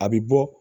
A bɛ bɔ